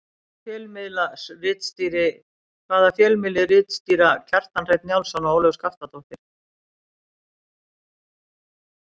Hvaða fjölmiðli ritstýra Kjartan Hreinn Njálsson og Ólöf Skaftadóttir?